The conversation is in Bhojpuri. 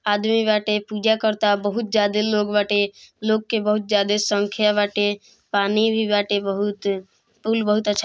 आदमी बाटे पूजा कराता बहुत ज्यादा लोग बाटे लोग के बहुत ज्यादा संख्या बाटे पानी भी बाटे बहुत पुल बहुत अच्छा --